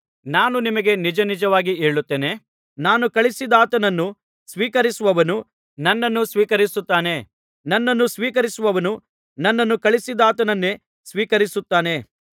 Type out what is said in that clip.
ನಾನು ನಿಮಗೆ ನಿಜನಿಜವಾಗಿ ಹೇಳುತ್ತೇನೆ ನಾನು ಕಳುಹಿಸಿದಾತನನ್ನು ಸ್ವೀಕರಿಸುವವನು ನನ್ನನ್ನು ಸ್ವೀಕರಿಸುತ್ತಾನೆ ನನ್ನನ್ನು ಸ್ವೀಕರಿಸುವವನು ನನ್ನನ್ನು ಕಳುಹಿಸಿದಾತನನ್ನೇ ಸ್ವೀಕರಿಸುತ್ತಾನೆ